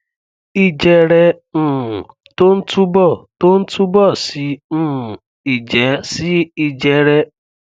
ìjẹrẹ um tó ń túbọ tó ń túbọ sí um ìjẹ sí ìjẹrẹ